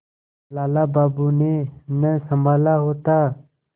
लाला बाबू ने न सँभाला होता